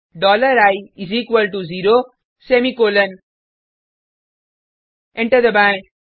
dollar I is equal to zero semicolon enter दबाएँ